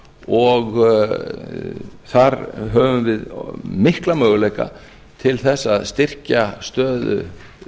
og þar höfum við mikla möguleika til þess að styrkja stöðu